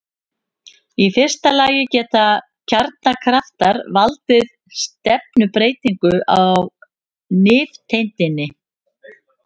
Í fyrsta lagi geta kjarnakraftar valdið stefnubreytingu á nifteindinni.